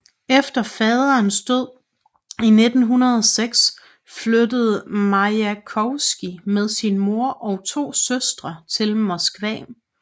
Efter faderens død i 1906 flyttede Majakovskij med sin mor og to søstre til Moskva